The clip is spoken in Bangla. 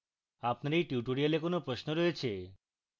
আপনি এই tutorial কোনো প্রশ্ন রয়েছে